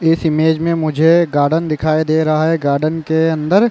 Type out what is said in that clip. इस इमेज में मुझे एक गार्डन दिखाई दे रहा है गार्डन के अंदर --